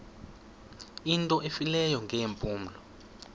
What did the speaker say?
into efileyo ngeempumlo